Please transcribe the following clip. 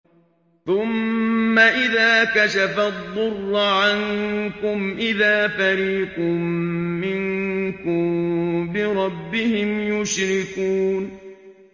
ثُمَّ إِذَا كَشَفَ الضُّرَّ عَنكُمْ إِذَا فَرِيقٌ مِّنكُم بِرَبِّهِمْ يُشْرِكُونَ